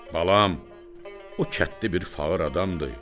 Balam, o kəndli bir fağır adamdır.